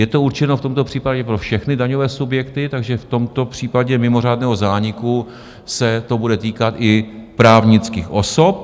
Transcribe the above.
Je to určeno v tomto případě pro všechny daňové subjekty, takže v tomto případě mimořádného zániku se to bude týkat i právnických osob.